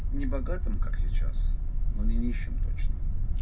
небогатым как сейчас но не нищим точно